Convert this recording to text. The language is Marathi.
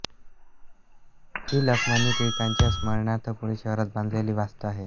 ही लोकमान्य टिळकांच्या स्मरणार्थ पुणे शहरात बांधलेली वास्तू आहे